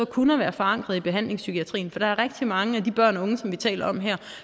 kun er forankret i behandlingspsykiatrien for der er rigtig mange af de børn og unge vi taler om her